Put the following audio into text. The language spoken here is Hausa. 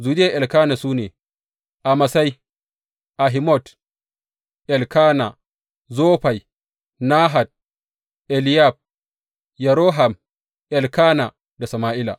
Zuriyar Elkana su ne, Amasai, Ahimot, Elkana, Zofai, Nahat, Eliyab Yeroham, Elkana da Sama’ila.